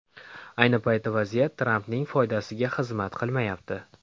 Ayni paytda vaziyat Trampning foydasiga xizmat qilmayapti.